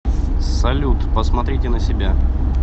салют посмотрите на себя